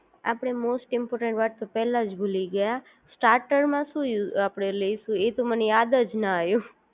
આપણે most important વાત તો પહેલા જ ભૂલી ગયા સ્ટાર્ટર માં શું આપડે લેશું એ તો મને યાદ જ ન આવ્યું